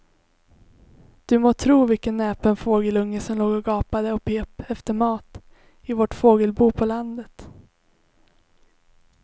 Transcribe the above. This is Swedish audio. Du må tro vilken näpen fågelunge som låg och gapade och pep efter mat i vårt fågelbo på landet.